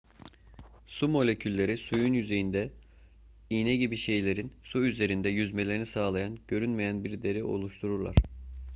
su molekülleri suyun yüzeyinde iğne gibi şeylerin su üzerinde yüzmelerini sağlayan görünmeyen bir deri oluştururlar